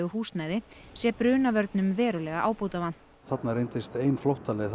húsnæði sé brunavörnum verulega ábótavant þarna reyndist ein flóttaleið